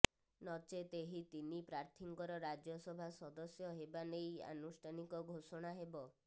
ନଚେତ୍ ଏହି ତିନି ପ୍ରାର୍ଥୀଙ୍କର ରାଜ୍ୟସଭା ସଦସ୍ୟ ହେବା ନେଇ ଆନୁଷ୍ଠାନିକ ଘୋଷଣା ହେବ